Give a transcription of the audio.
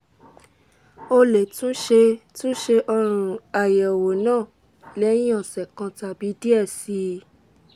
o le tun ṣe tun ṣe ayẹwo naa lẹhin ọsẹ kan tabi diẹ sii